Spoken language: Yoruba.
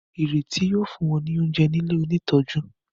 Ireti yíò fún wón ní oúnjẹ ní ilẹ òní tọjú.